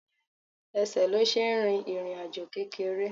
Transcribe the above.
Ẹsẹ̀ ló ṣe ń rìn ìrìnàjò kékeré